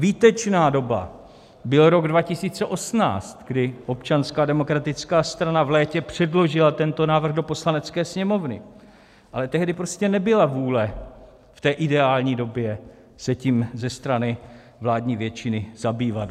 Výtečná doba byl rok 2018, kdy Občanská demokratická strana v létě předložila tento návrh do Poslanecké sněmovny, ale tehdy prostě nebyla vůle v té ideální době se tím ze strany vládní většiny zabývat.